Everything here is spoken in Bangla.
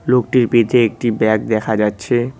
লোকটির পিঠে একটি ব্যাগ দেখা যাচ্ছে।